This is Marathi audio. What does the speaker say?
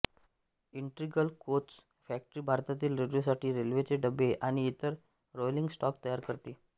इंटिग्रल कोच फॅक्टरी भारतीय रेल्वेसाठी रेल्वेचे डबे आणि इतर रोलिंग स्टॉक तयार करते